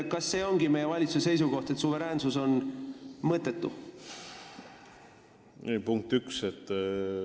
Kas see ongi meie valitsuse seisukoht, et suveräänsus on mõttetu?